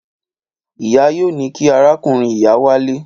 Ìyá yóò ní kí arákùnrin-ìyá wálé.